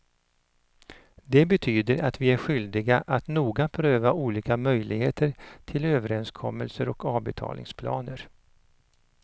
Det betyder att vi är skyldiga att noga pröva olika möjligheter till överenskommelser och avbetalningsplaner.